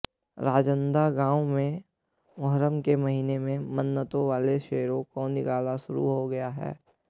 राजनांदगांव में मोहर्रम के महीने में मन्नतों वाले शेरों का निकलना शुरू हो गया है